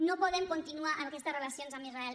no podem continuar amb aquestes relacions amb israel